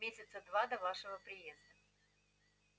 месяца два до вашего приезда